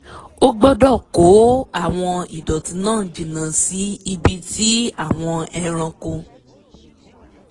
a gbọ́dọ̀ kó àwọn ìdọ̀tí náà jìnnà sí ibi tí àwọn ẹranko